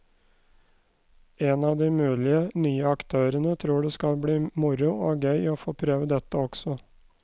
En av de mulige nye aktørene tror det skal bli moro og gøy å få prøve dette også.